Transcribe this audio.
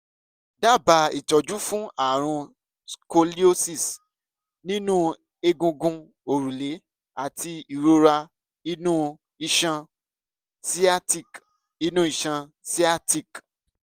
dábàá ìtọ́jú fún ààrùn scoliosis nínú egungun òrùlé àti ìrora inú iṣan sciatic inú iṣan sciatic